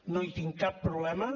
no hi tinc cap problema